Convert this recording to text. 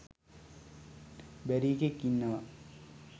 බැරි එකෙක් ඉන්නවා.